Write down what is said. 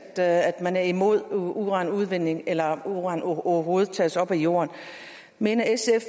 at man er imod uranudvinding eller at uran overhovedet tages op af jorden mener sf